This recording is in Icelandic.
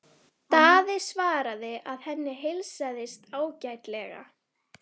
Daði svaraði að henni heilsaðist ágætlega.